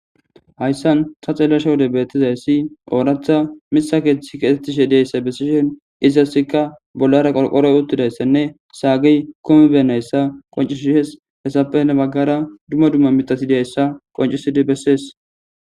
hayssan ta xellasha wode beettizayssi ooratha misa keeththi keetettishe deyssa bessishen iziasikka bollara qolqoroy uttidayssenne saagiy komi bennayssa qoncisihes hessapene baggara dumma dumma mitasidiayssa qoncisidi bessees